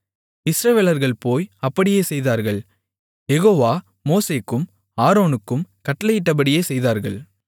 இஸ்ரவேலர்கள் போய் அப்படியே செய்தார்கள் யெகோவா மோசேக்கும் ஆரோனுக்கும் கட்டளையிட்டபடியே செய்தார்கள்